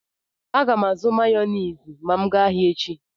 A gam azu mayonezi ma m gaa ahia echi